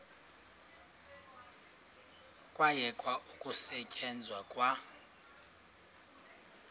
kwayekwa ukusetyenzwa kwa